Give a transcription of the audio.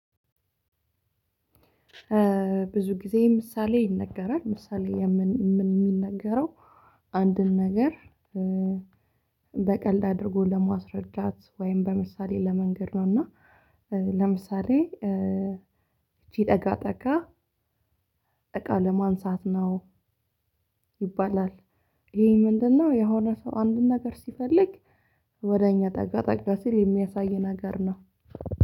ብዙ ጊዜ ምሳሌ ይነገራል ምሳሌ የሚነገረው አንድን ነገር በቀልድ አድርጎ ለማስረዳት ወይም በምሳሌ ለመንገር ነው። እና ለምሳሌ ይቺ ጠጋ ጠጋ እቃ ለማንሳት ነው ይባላል። ይሄ ምንድነው? የሆነ ሰው አንድን ነገር ሲፈልግ ወደ እኛ ጠጋ ጠጋ ሲል የሚያሳይ ነገር ነው።